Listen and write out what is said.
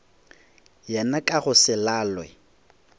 yena ka go se lalwe